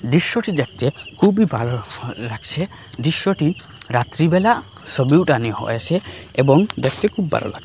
দৃশ্যটি দেখতে খুবই ভালো লাগসে দৃশ্যটি রাত্রিবেলা সবি উঠানি হয়েসে এবং দেখতে খুব ভালো লাগে।